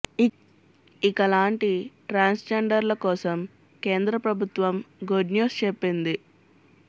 ఇక లాంటి transgender ల కోసం కేంద్ర ప్రభుత్వం గుడ్ న్యూస్ చెప్పింది